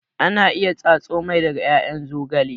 Ana iya tsatso mai daga ƴaƴan zogale